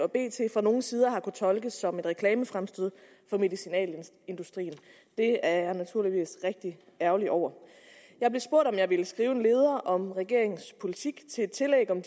fra nogle sider har tolkes som et reklamefremstød for medicinalindustrien det er jeg naturligvis rigtig ærgerlig over jeg blev spurgt om jeg ville skrive en leder om regeringens politik til et tillæg om